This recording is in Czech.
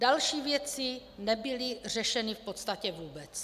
Další věci nebyly řešeny v podstatě vůbec."